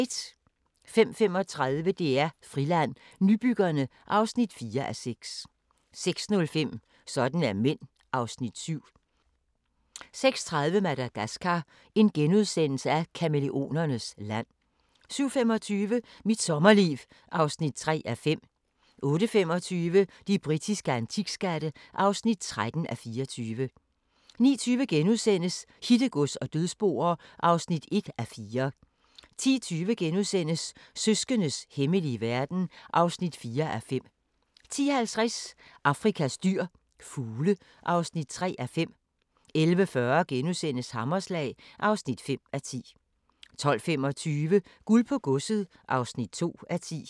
05:35: DR Friland: Nybyggerne (4:6) 06:05: Sådan er mænd (Afs. 7) 06:30: Madagascar – kamæleonernes land * 07:25: Mit sommerliv (3:5) 08:25: De britiske antikskatte (13:24) 09:20: Hittegods og dødsboer (1:4)* 10:20: Søskendes hemmelige verden (4:5)* 10:50: Afrikas dyr – fugle (3:5) 11:40: Hammerslag (5:10)* 12:25: Guld på godset (2:10)